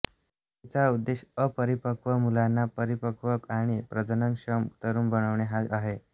तिचा उद्देश अपरिपक्व मुलाला परिपक्व आणि प्रजननक्षम तरुण बनवणे हा आहे